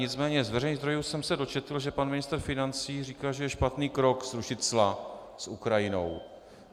Nicméně z veřejných zdrojů jsem se dočetl, že pan ministr financí říká, že je špatný krok zrušit cla s Ukrajinou.